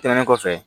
Tɛmɛnen kɔfɛ